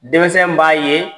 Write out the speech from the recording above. Denmisɛn b'a ye